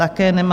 Také nemá.